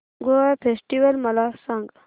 Goa festival मला सांग